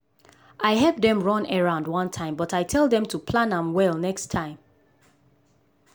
i help dem run errand one time but i tell dem to plam am well next time.